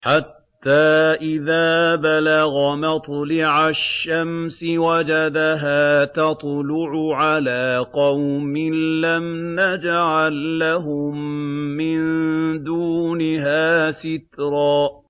حَتَّىٰ إِذَا بَلَغَ مَطْلِعَ الشَّمْسِ وَجَدَهَا تَطْلُعُ عَلَىٰ قَوْمٍ لَّمْ نَجْعَل لَّهُم مِّن دُونِهَا سِتْرًا